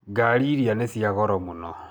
Ngari iria nĩ cia goro mũno.